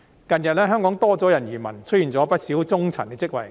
近日，香港多了人移民，出現不少中層職位空缺。